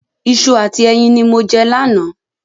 Iṣu àti ẹyin ní mo jẹ lánàá